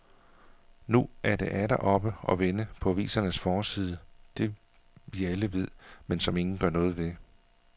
Nu er det atter oppe og vende på avisernes forside, det vi alle ved, men som ingen gør noget ved.